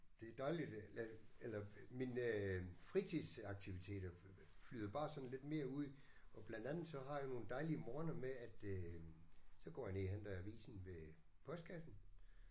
Det er dejligt at eller mine fritidsaktiviteter flyder bare sådan lidt mere ud og blandt andet så har jeg nogle dejlige morgener med at øh så går jeg ned og henter avisen ved postkassen